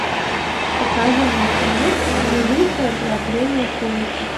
покажи мне кино великое ограбление поезда